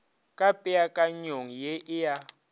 ka peakanyong ye e a